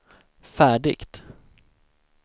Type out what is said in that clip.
färdigt